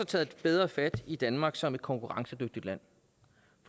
taget bedre fat i danmark som et konkurrencedygtigt land